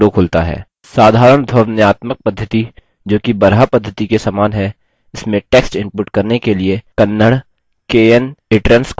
साधारण ध्वन्यात्मक पद्धति जो कि baraha पद्धति के समान है इसमें text इनपुट करने के लिए kannada knitrans को चुनें